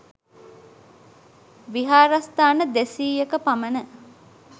විහාරස්ථාන දෙසීයක පමණ